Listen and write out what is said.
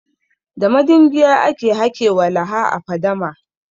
Da madingiya aka hake walaha a fadama.